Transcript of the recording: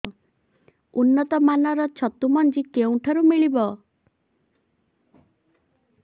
ଉନ୍ନତ ମାନର ଛତୁ ମଞ୍ଜି କେଉଁ ଠାରୁ ମିଳିବ